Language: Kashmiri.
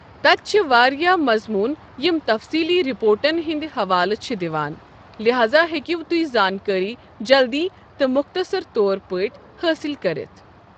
تَتہِ چھِ واریاہ مَضموٗن یِم تَفصیٖلی رِپورٹَن ہُنٛد حوالہٕ چھِ دِوان، لہذا ہیکِو تُہۍ زانٛکٲرِی جلدِی تہٕ مختصر طور پٲٹھۍ حٲصِل کٔرِتھ۔ ۔